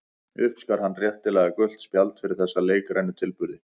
Uppskar hann réttilega gult spjald fyrir þessa leikrænu tilburði.